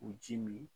U ji min